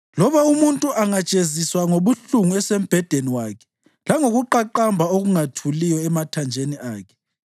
Loba umuntu angajeziswa ngobuhlungu esembhedeni wakhe, langokuqaqamba okungathuliyo emathanjeni akhe,